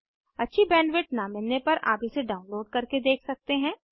अच्छी बैंडविड्थ न मिलने पर आप इसे डाउनलोड करके देख सकते हैं